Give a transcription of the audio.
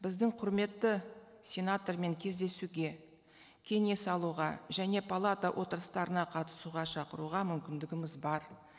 біздің құрметті сенатормен кездесуге кеңес алуға және палата отырыстарына қатысуға шақыруға мүмкіндігіміз бар